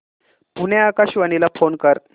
पुणे आकाशवाणीला फोन कर